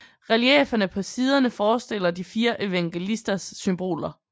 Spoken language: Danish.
Reliefferne på siderne forestiller de fire evangelisters symboler